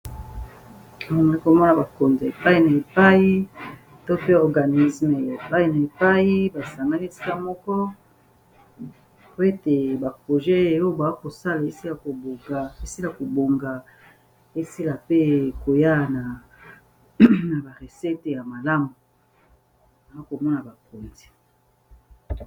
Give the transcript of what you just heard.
Awa nakomona bakonzi epai na epai, to mpe organisme ya epai na epai basangani esika moko po ete ba projet oyo bakosala esila kobonga, esila pe koya na ba ressete ya malamu. Nakomona bakonzi.